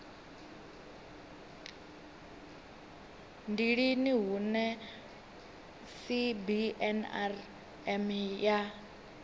ndi lini hune cbnrm ya